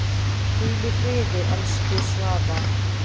Hvíl í friði, elsku Svafa.